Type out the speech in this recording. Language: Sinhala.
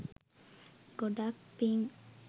ගොඩාක් පිං